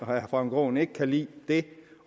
herre frank aaen ikke kan lide